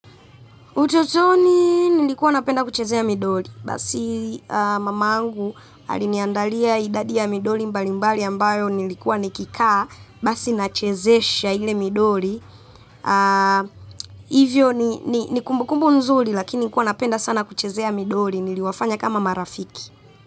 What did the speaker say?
Utotoni nilikuwa napenda kuchezea midoli, basi mamangu aliniandalia idadi ya midoli mbali mbali ambayo nilikuwa nikikaa, basi nachezesha ile midoli, hivyo ni kumbukumbu nzuri lakini nilikuwa napenda sana kuchezea midoli, niliwafanya kama marafiki.